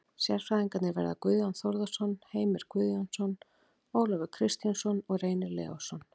Sérfræðingarnir verða Guðjón Þórðarson, Heimir Guðjónsson, Ólafur Kristjánsson og Reynir Leósson.